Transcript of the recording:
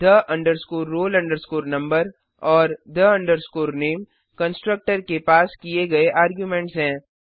the roll number और the name constructor के पास किए गए आर्ग्युमेंटस हैं